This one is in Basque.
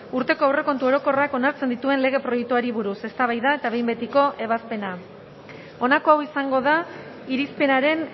urteko aurrekontu orokorrak onartzen dituen lege proiektuari buruz eztabaida eta behin betiko ebazpena honako hau izango da irizpenaren